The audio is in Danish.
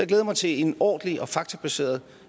glæder mig til en ordentlig og faktabaseret